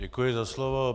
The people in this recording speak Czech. Děkuji za slovo.